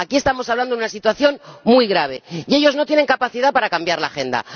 Aquí estamos hablando de una situación muy grave y ellos no tienen capacidad para cambiar la agenda.